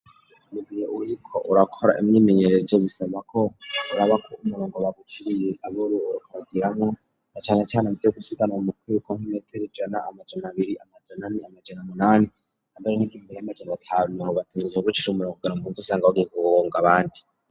Mugihe uriko urakora imyimenyerezo bisaba ko uraba umurongo baguciriye ariwo uriko uragiramwo na cane cane mu gusiganana mu kwiruko nk'imetero ijana, amajana abiri, amaja ane amajana umunani hamwe n'igihumbi n'amajana atanu aho bisaba kwicomora kugira ntuce ugonga abandi.